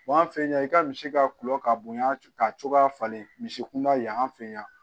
an fɛ yan i ka misi ka tulo ka bonya ka cogoya falen misi kunda yan fɛ yan